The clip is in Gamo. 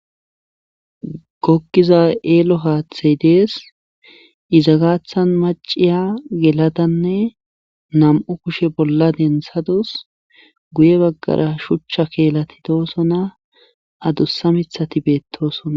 Goggiza eelo haathi dees iza gaathan macciya geladanne nam7u kushe bolla denthadus gguye baggara shucha keelati doosona adussa mithati beettoosona.